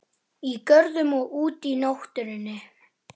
Í görðum og úti í náttúrunni.